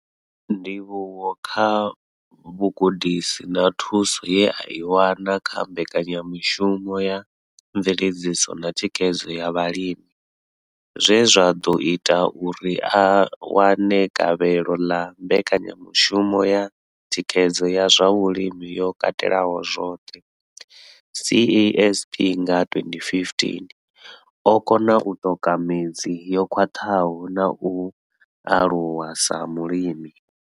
Ndivhuwo kha vhugudisi na thuso ye a i wana kha mbekanyamushumo ya mveledziso na thikhedzo ya vhalimi zwe zwa ḓo ita uri a wane gavhelo ḽa mbekanyamushumo ya thikhedzo ya zwa vhulimi yo katelaho zwoṱhe CASP nga 2015, o kona u ṱoka midzi yo khwaṱhaho na u aluwa sa mulimi.